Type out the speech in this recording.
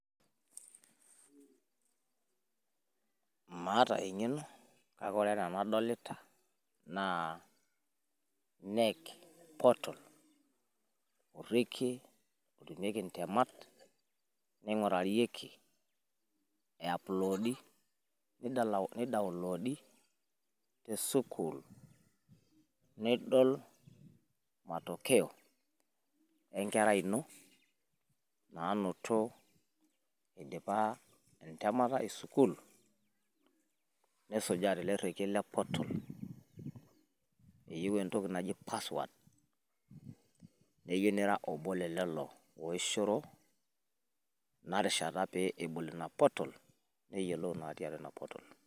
maata eng'eno kake woore enaa enadolita naa knec portal orekiee otemieki ntemat ningurayieki eiuplodady nidownoloady tesukuul nidool matokeo enkerai ino nanoto idipa entemata esukuul nisujaa telerieki le portal iyata entoki naji password neyieuu niira obo le lelo oishoro naarishata pe ebol inaa portal neyiolou natii inaa portal